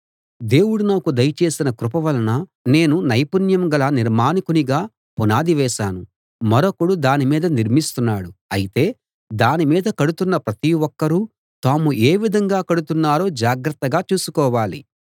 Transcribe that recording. దేవుడు నాకు దయచేసిన కృప వలన నేను నైపుణ్యం గల నిర్మాణకునిగా పునాది వేశాను మరొకడు దాని మీద నిర్మిస్తున్నాడు అయితే దాని మీద కడుతున్న ప్రతి ఒక్కరూ తాము ఏ విధంగా కడుతున్నారో జాగ్రత్తగా చూసుకోవాలి